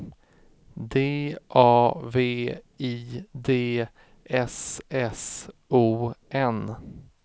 D A V I D S S O N